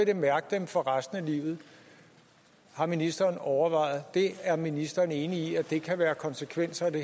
det mærke dem for resten af livet har ministeren overvejet det er ministeren enig i at det kan være konsekvenserne